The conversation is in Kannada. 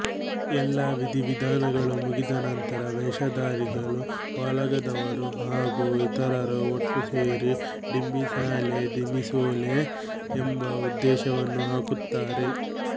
ಎಲ್ಲಾ ವಿಧಿವಿಧಾನಗಳು ಮುಗಿದ ನಂತರ ವೇಷಧಾರಿಗಳು ವಾಲಗದವರು ಹಾಗೂ ಇತರರು ಒಟ್ಟು ಸೇರಿ ಡಿಂಬಿಸಾಲೆ ದಿಮಿಸೋಲೆ ಎಂಬ ಉದ್ಘೋಷವನ್ನು ಹಾಕುತ್ತಾರೆ